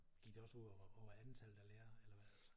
Gik det også ud over antallet af lærere eller hvad altså?